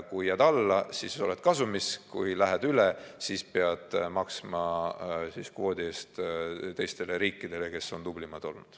Kui jääd alla, siis oled kasumis, kui lähed üle, siis pead maksma kvoodi eest teistele riikidele, kes on tublimad olnud.